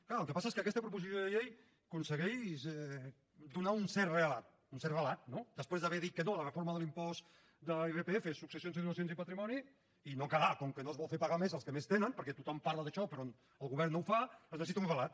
clar el que passa és que aquesta proposició de llei aconsegueix donar un cert relat un cert relat no després d’haver que dit que no a la reforma de l’impost de l’irpf successions i donacions i patrimoni i no quedar com que no es vol fer pagar més als que més tenen perquè tothom parla d’això però el govern no ho fa es necessita un relat